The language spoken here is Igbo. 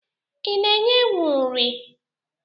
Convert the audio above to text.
I na-enye ewu nri?